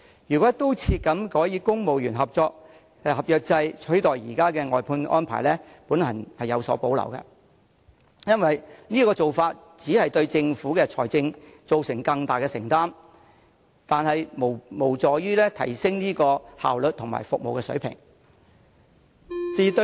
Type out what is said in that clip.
如果"一刀切"改以公務員合約制取代現有的外判安排，我對此有所保留，因為此舉只會對政府的財政造成更大負擔，卻無助提升效率及服務水平。